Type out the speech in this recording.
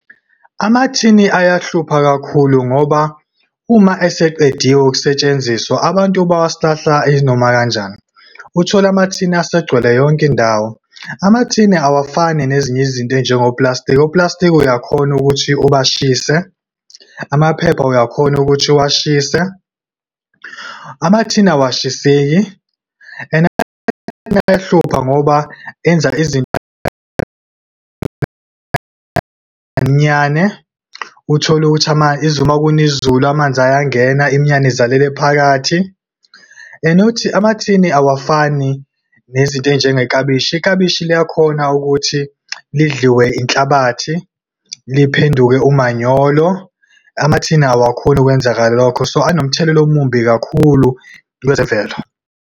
Amathini ayahlupha kakhulu ngoba, uma eseqediwe ukusetshenziswa, abantu bawasilahla inoma kanjani. Uthole amathini asegcwele yonke indawo. Amathini awafani nezinye izinto ey'njengo plastiki. Oplastiki uyakhona ukuthi ubashise, amaphepha uyakhona ukuthi uwashise. Amathini awashiseki, and ayahlupha ngoba enza izinto . Uthole ukuthi uma kuna izulu amanzi ayangena, imiyane izalele phakathi. And amathini awafani nezinto ezinjenge klabishi, iklabishi liyakhona ukuthi lidliwe inhlabathi, liphenduke umanyolo. Amathini awakhoni ukwenzeka lokho, so anomthelela omumbi kakhulu kwezemvelo.